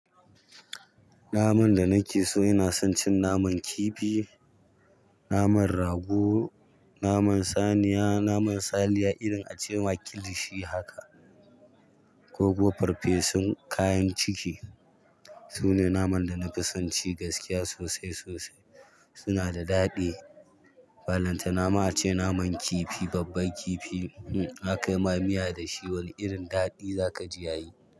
Naman da nakeso ina son cin naman kifi, naman rago, naman saniya, naman saniya irin acema kilishi haka. Su ne naman da na fi son ci gaskiya sosai sosai. Su na da daɗi. Ballanta nama ace naman kifi, babban kifi. Hmm! Aka yima miya da shi wani irin daɗi za ka ji yayi.